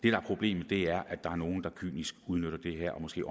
er problemet er at der er nogle der ganske kynisk udnytter det her og måske